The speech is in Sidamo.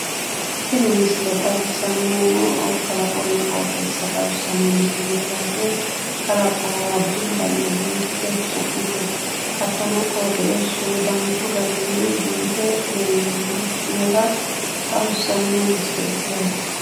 Tinibmisile xawissannihuno kalaqonna qooxeessa xawissnno yaate kalaqo addintanni biiffe xu'mite hattono qooxeessu danchu garinni biife lellannota xawissanno misileeti yaate.